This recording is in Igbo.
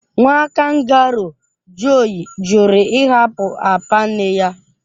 Nwa kangaroo (Joey) jụrụ ịhapụ apa nne ya.